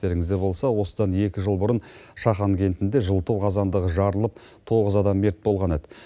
естеріңізде болса осыдан екі жыл бұрын шахан кентінде жылыту қазандығы жарылып тоғыз адам мерт болған еді